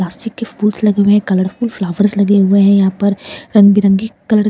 plastic के फूल्स लगे हुए हैं कलरफुल फ्लॉवर्स लगे हुए हैं यहाँ पर रंग-बिरंगी कलर --